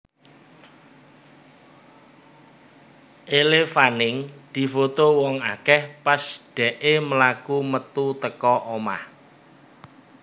Elle Fanning difoto wong akeh pas dekke mlaku metu teko omah